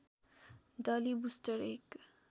डली बुस्टर एक